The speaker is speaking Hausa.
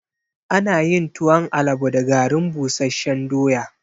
Ana yin tuwon alabo da garin busashen doya